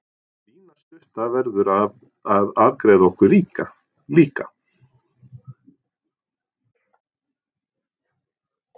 Lína stutta verður að afgreiða okkur líka.